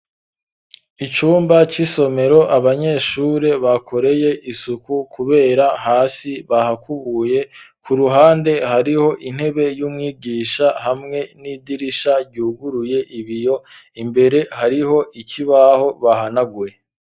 Icumba c'isomero abanyeshure bakoreye isuku kubera hasi bahakubuye kuruhande hariho intebe y'umwigisha hamwe n'idirisha ryuguruye ibiyo imbere hariho ikibaho bahanaguye.